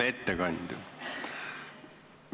Hea ettekandja!